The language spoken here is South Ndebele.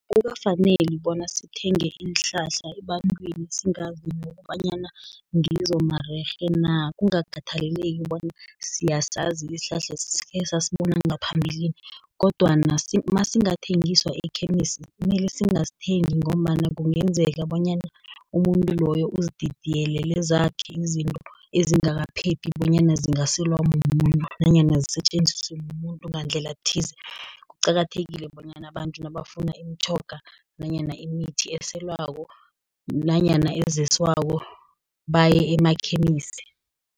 Akukafaneli bona sithenge iinhlahla ebantwini singazi nokobanyana ngizo marerhe na, kungakhathaleki bona siyasazi isihlahla sikhe sasibona ngaphambilini, kodwana nasingathengiswa ekhemisi, mele singasithengi ngombana kungenzeka bonyana umuntu loyo uzididiyelele zakhe izinto ezingakaphephi, bonyana zingaselwa mumuntu, nanyana zisetjenziswe mumuntu, ngandlela thize. Kuqakathekile bonyana abantu nabafuna imitjhoga nanyana imithi eselwako nanyana ezeswako baye emakhemisi.